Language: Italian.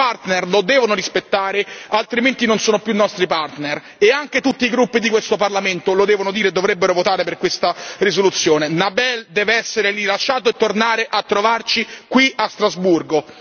I nostri partner lo devono rispettare, altrimenti non sono più i nostri partner e anche tutti i gruppi di questo Parlamento lo devono dire e dovrebbero votare per questa risoluzione. Nabeel deve essere rilasciato e tornare a trovarci qui a Strasburgo.